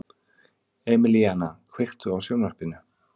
Emelíana, kveiktu á sjónvarpinu.